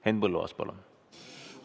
Henn Põlluaas, palun!